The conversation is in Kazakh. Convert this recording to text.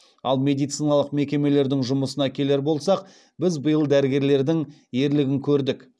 ал медициналық мекемелердің жұмысына келер болсақ біз биыл дәрігерлердің ерлігін көрдік